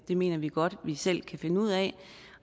det mener vi godt vi selv kan finde ud af